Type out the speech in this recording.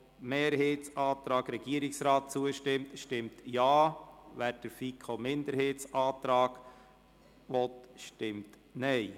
Wer dem Antrag Regierungsrat/FiKo-Mehrheit zustimmt, stimmt Ja, wer den FiKo-Minderheitsantrag annehmen will, stimmt Nein.